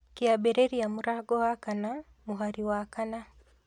Kĩambĩrĩria mũrango wa kana mũhari wa kana